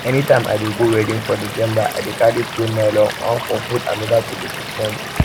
anytime i dey go wedding for december i dey carry two nylon one for food another to dey pick money